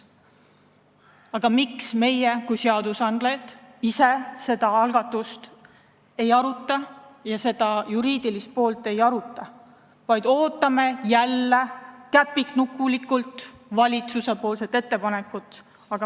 Aga miks meie kui seadusandjad ise seda algatust ja seda juriidilist poolt ei aruta, vaid ootame jälle käpiknukulikult valitsuse ettepanekut?